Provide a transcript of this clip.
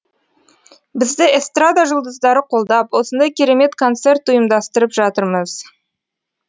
бізді эстрада жұлдыздары қолдап осындай керемет концерт ұйымдастырып жатырмыз